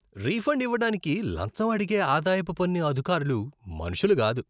Refund ఇవ్వడానికి లంచం అడిగే ఆదాయపు పన్ను అధికారులు మనుషులు కాదు.